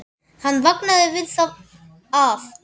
Hann vaknaði við það að